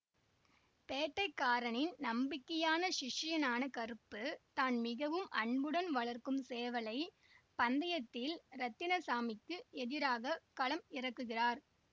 பேட்டைக்காரனின் நம்பிக்கையான சிஷ்யனான கருப்பு தான் மிகவும் அன்புடன் வளர்க்கும் சேவலை பந்தயத்தில் ரத்தினசாமிக்கு எதிராக களம் இறக்குகிறார்